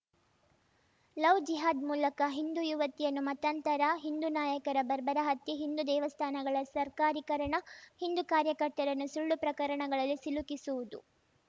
love ಜಿಹಾದ್‌ ಮೂಲಕ ಹಿಂದೂ ಯುವತಿಯನ್ನು ಮತಾಂತರ ಹಿಂದೂ ನಾಯಕರ ಬರ್ಬರ ಹತ್ಯೆ ಹಿಂದು ದೇವಸ್ಥಾನಗಳ ಸರ್ಕಾರೀಕರಣ ಹಿಂದೂ ಕಾರ್ಯಕರ್ತರನ್ನು ಸುಳ್ಳು ಪ್ರಕರಣಗಳಲ್ಲಿ ಸಿಲುಕಿಸುವುದು